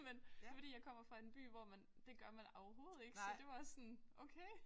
Men det er fordi jeg kommer fra en by hvor man det gør man overhovedet ikke så det var sådan okay